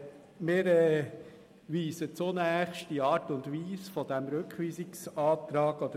Wir weisen die Art und Weise dieses Rückweisungsantrags zurück.